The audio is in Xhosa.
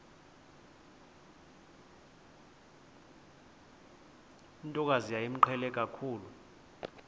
ntokazi yayimqhele kakhulu